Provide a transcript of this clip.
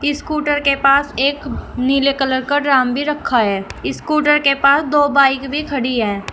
Scooter के पास एक नीले कलर का ड्राम भी रखा है स्कूटर के पास दो बाइक भी खड़ी है।